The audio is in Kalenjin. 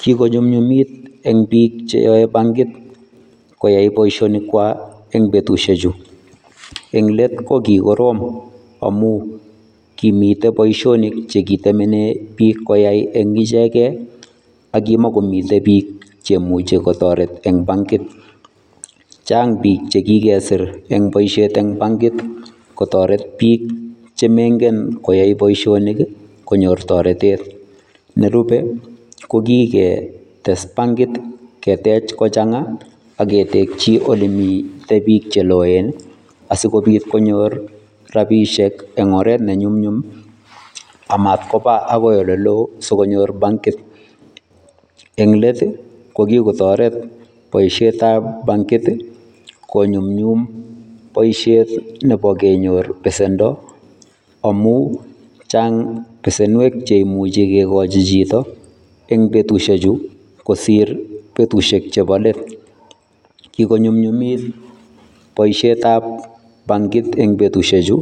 Kikonyumnyumit en biik cheyoe bankit koyai boishonikwak eng' betushechu, eng' leet ko kikorom amuun komiten boishonik chekitemene biik koyai eng' ichekee ak kimokomi biik chemuche kotoret en bankit, chaang biik chekikesir en boishet en bankit kotoret biik chemoing'en koyai boishonik konyor toretet, nerube kokii ketes bankit ketech kochang'a ak ketekyii olemii biik cheloen asikobit konyor rabishek eng' oret ne nyumnyum amatkoba akoi eleloo asikonyor bankit, en leet ii kokikotoret boishetab bankit konyumnyum boishet nebo kenyor besendo amun Chang besenwek cheimuche kikochi chito eng' betushechu kosir betushek chebo leet, kikonyumnyumit boishetab bankit eng' betushechu